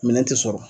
Minɛn tɛ sɔrɔ